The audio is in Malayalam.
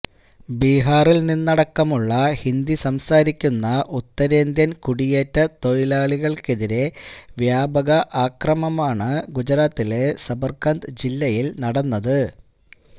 ബിഹാറില് നിന്നടക്കമുള്ള ഹിന്ദി സംസാരിക്കുന്ന ഉത്തരേന്ത്യന് കുടിയേറ്റ തൊഴിലാളികള്ക്കെതിരെ വ്യാപക അക്രമമാണ് ഗുജറാത്തിലെ സബര്കന്ത ജില്ലയില് നടന്നത്